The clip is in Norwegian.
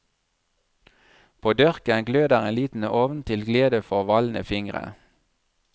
På dørken gløder en liten ovn til glede for valne fingre.